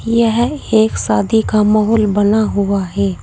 यह एक शादी का माहौल बना हुआ है।